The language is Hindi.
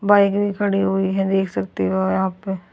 बाइक भी खड़ी हुई है देख सकते हो यहां पे--